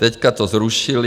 Teď to zrušili.